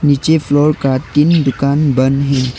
पीछे फ्लोर का तीन दुकान बंद है।